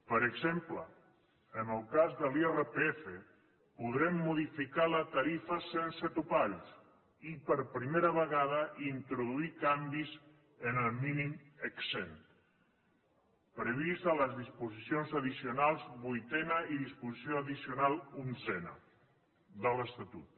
per exemple en el cas de l’irpf podrem modificar la tarifa sense topalls i per primera vegada introduir canvis en el mínim exempt previst a la disposició addicional vuitena i disposició addicional onzena de l’estatut